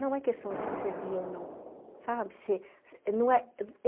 Não é questão de ser serviço ou não, sabe? Se